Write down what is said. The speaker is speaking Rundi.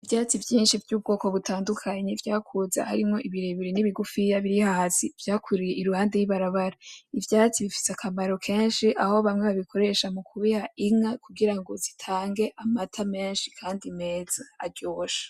Ivyatsi vyinshi vy'ubwoko butandukanye vyakuze , harimwo birebire na bigufiya biri hasi vyakuriye iruhande y'ibarabara , ivyatsi bifise akamaro kenshi aho bamwe babikoresha mu kubiha inka kugira ngo zitange amata menshi kandi meza aryoshe.